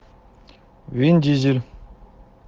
вин дизель